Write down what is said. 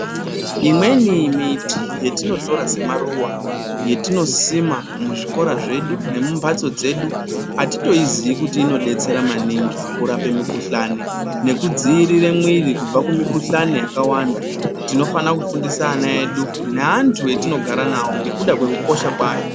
Imweni miti yetinotora semaruva yetinosima muzvikora zvedu nemumbatso dzedu atitoyiziyi kuti inodetsera maningi kurape mikhuhlane nekudzivirira mwiri kubva kumikhuhlane yakawanda tinofana kufundisa ana edu neantu etinogara nawo nekuda kwekukosha kwayo.